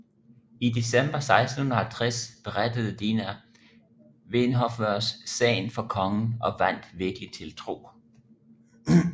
I december 1650 berettede Dina Vinhofvers sagen for kongen og vandt virkelig tiltro